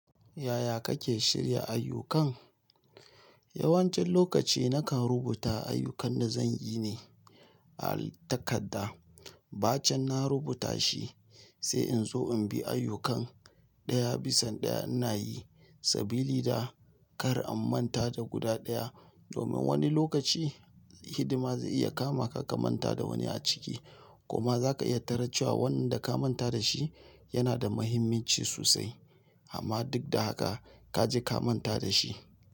Yaya kake shirya ayyukan? Yawancin lokaci nakan rubuta ayyukan da zan yi ne a takadda. Ba cen na rubuta shi, sai in zo in bi ayyukan ɗaya bisan ɗaya ina yi. Sabili da kar an manta da guda ɗaya, domin wani lokaci hidima zai iya kama ka ka manta da wani a ciki. Kuma za ka iya taran cewa wannan da ka manta da shi, yana da muhimmanci sosai. Amma duk da haka ka ji ka manta da shi.